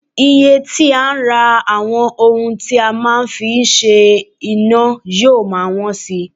Iye tí a ń rà àwọn ohun tí a máa ń fi ń ṣe iná yóò máa wọ́n si